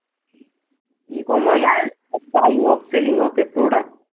buying and selling of a product